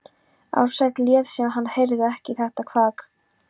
Ársæll lét sem hann heyrði ekki þetta kvak.